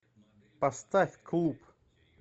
поставь клуб